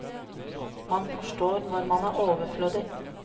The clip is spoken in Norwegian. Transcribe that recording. Man forstår når man er overflødig.